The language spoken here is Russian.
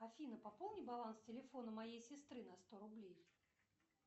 афина пополни баланс телефона моей сестры на сто рублей